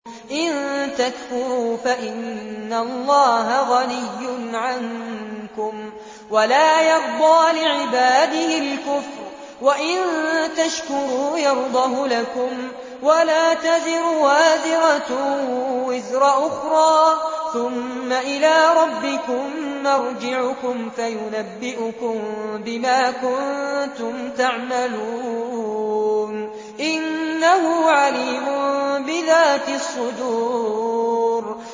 إِن تَكْفُرُوا فَإِنَّ اللَّهَ غَنِيٌّ عَنكُمْ ۖ وَلَا يَرْضَىٰ لِعِبَادِهِ الْكُفْرَ ۖ وَإِن تَشْكُرُوا يَرْضَهُ لَكُمْ ۗ وَلَا تَزِرُ وَازِرَةٌ وِزْرَ أُخْرَىٰ ۗ ثُمَّ إِلَىٰ رَبِّكُم مَّرْجِعُكُمْ فَيُنَبِّئُكُم بِمَا كُنتُمْ تَعْمَلُونَ ۚ إِنَّهُ عَلِيمٌ بِذَاتِ الصُّدُورِ